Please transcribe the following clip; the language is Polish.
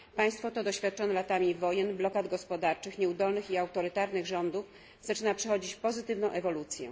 Państwo to doświadczone latami wojen, blokad gospodarczych, nieudolnych i autorytarnych rządów zaczyna przechodzić pozytywną ewolucję.